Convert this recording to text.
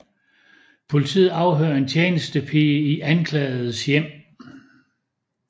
Politiet afhører en tjenestepige i anklagedes hjem